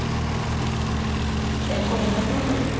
Magnús: Er komið nafn á hann?